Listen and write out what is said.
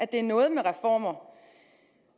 det er noget med reformer